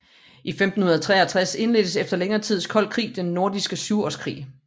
I 1563 indledtes efter længere tids kold krig Den Nordiske Syvårskrig